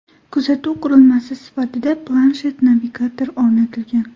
Kuzatuv qurilmasi sifatida planshet-navigator o‘rnatilgan.